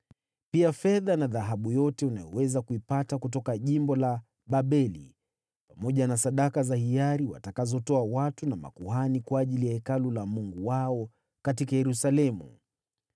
pia fedha na dhahabu zote unazoweza kupata kutoka jimbo la Babeli, pamoja na sadaka za hiari watakazotoa watu na makuhani kwa ajili ya Hekalu la Mungu wao katika Yerusalemu.